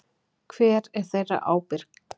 Hver er þeirra ábyrgt?